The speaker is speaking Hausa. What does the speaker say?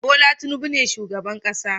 Bola Tinubu ne shugaban ƙasa